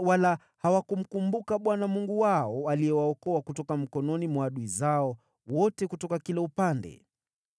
wala hawakumkumbuka Bwana Mungu wao, aliyewaokoa kutoka mikononi mwa adui zao wote kutoka kila upande.